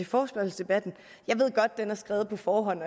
forespørgselsdebatten jeg ved godt at den er skrevet på forhånd